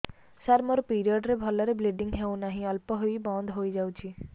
ସାର ମୋର ପିରିଅଡ଼ ରେ ଭଲରେ ବ୍ଲିଡ଼ିଙ୍ଗ ହଉନାହିଁ ଅଳ୍ପ ହୋଇ ବନ୍ଦ ହୋଇଯାଉଛି